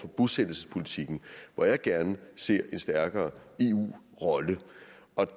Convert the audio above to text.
bosættelsespolitikken hvor jeg gerne ser en stærkere eu rolle